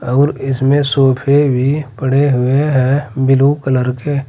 और इसमें सोफे भी पड़े हुए हैं ब्लू कलर के।